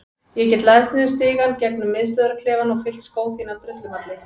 Ég get læðst niður stigann gegnum miðstöðvarklefann og fyllt skó þína af drullumalli.